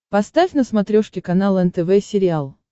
поставь на смотрешке канал нтв сериал